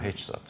Hə, heç zad.